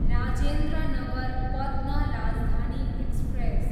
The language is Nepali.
राजेन्द्र नगर पत्न राजधानी एक्सप्रेस